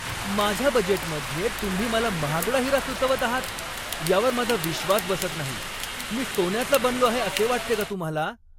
माझ्या बजेटमध्ये तुम्ही मला महागडा हिरा सुचवत आहात यावर माझा विश्वास बसत नाही! मी सोन्याचा बनलो आहे असे वाटते का तुम्हाला?